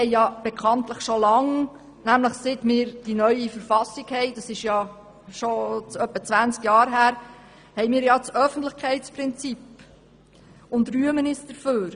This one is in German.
Wir haben bekanntlich schon lange seit Inkrafttreten der neuen Verfassung vor etwa 20 Jahren das Öffentlichkeitsprinzip und rühmen uns dafür.